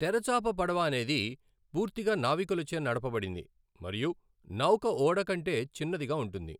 తెరచాప పడవ అనేది పూర్తిగా నావికులచే నడపబడింది మరియు నౌక ఓడ కంటే చిన్నదిగా ఉంటుంది.